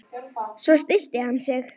Svo stillti hann sig.